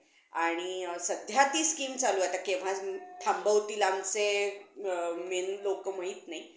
हम्म तेव्हा मी जेव्हा मी हे Book वाचलं मी काय ठरवलं नव्हतं आह पुढे काय करायचं आहे काय नाही जर कोणी म्हणायच